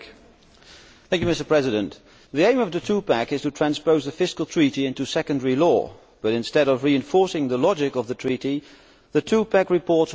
Mr President, the aim of the two pack' is to transpose the Fiscal Treaty into secondary law, but instead of reinforcing the logic of the treaty the two pack' reports water it down.